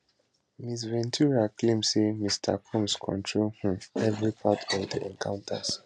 ms ventura claim say mr combs control um every part of di encounters